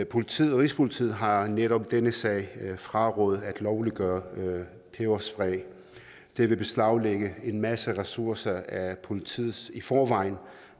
politiet rigspolitiet har netop i denne sag frarådet at lovliggøre peberspray det vil beslaglægge en masse ressourcer af politiets i forvejen